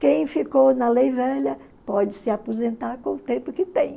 Quem ficou na lei velha pode se aposentar com o tempo que tem.